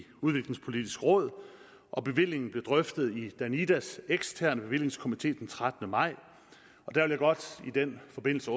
udviklingspolitisk råd og bevillingen blev drøftet i danidas eksterne bevillingskomité den trettende maj i den forbindelse